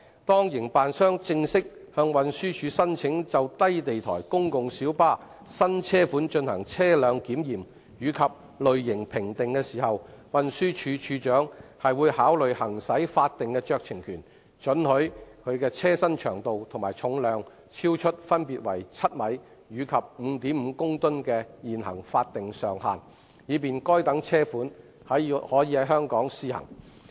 當營辦商正式向運輸署申請就低地台公共小巴新車款進行車輪檢驗及類型評定時，運輸署署長會考慮行使法定酌情權，准許其車身長度和重量超出分別為7米及 5.5 公噸的現行法定上限，以便該等車款可在香港試行。